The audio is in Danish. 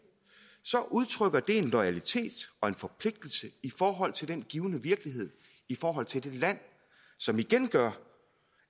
udtrykker vi en loyalitet og en forpligtelse i forhold til den givne virkelighed i forhold til det land som igen gør